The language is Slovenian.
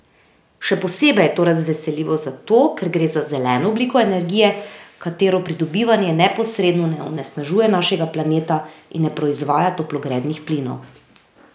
Še posebej je to razveseljivo zato, ker gre za zeleno obliko energije, katere pridobivanje neposredno ne onesnažuje našega planeta in ne proizvaja toplogrednih plinov.